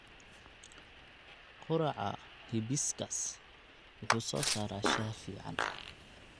Quraca hibiscus wuxuu soo saaraa shaah fiican.